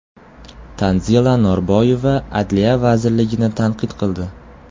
Tanzila Norboyeva Adliya vazirligini tanqid qildi.